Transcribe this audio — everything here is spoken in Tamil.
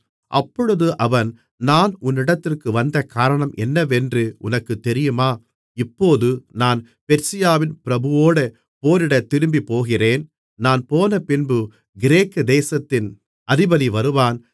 அப்பொழுது அவன் நான் உன்னிடத்திற்கு வந்த காரணம் என்னவென்று உனக்குத் தெரியுமா இப்போது நான் பெர்சியாவின் பிரபுவோடே போரிடத் திரும்பிப்போகிறேன் நான் போனபின்பு கிரேக்கு தேசத்தின் அதிபதி வருவான்